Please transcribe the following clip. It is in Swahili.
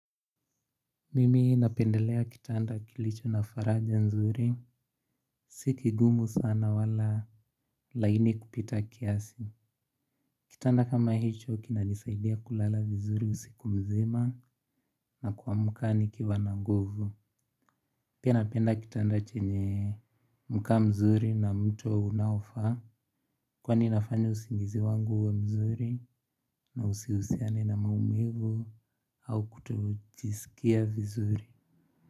Mimi napendelea kitanda kilicho na faraja mzuri. Si kigumu sana wala laini kupita kiasi. Kitanda kama hicho kina nisaidia kulala vizuri usikumzima na kwamka nikiwa nanguvu. Pia napenda kitanda chenye mka mzuri na mto unaofaa. Kwani inafanya usingizi wangu uwe mzuri na usihusiane na maumivu au kutojisikia vizuri.